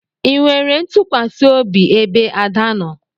Ị nwere ntukwasiobi ebe Ada nọ?